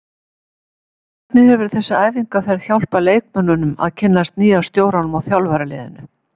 Hvernig hefur þessi æfingaferð hjálpað leikmönnunum að kynnast nýja stjóranum og þjálfaraliðinu?